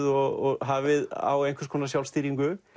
og hafið á einhvers konar sjálfstýringu